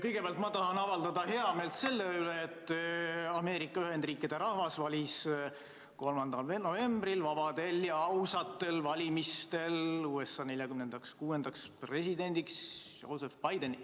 Kõigepealt tahan avaldada heameelt selle üle, et Ameerika Ühendriikide rahvas valis 3. novembril vabadel ja ausatel valimistel USA 46. presidendiks Joseph Bideni.